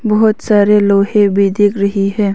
बहोत सारे लोहे भी दिख रही है।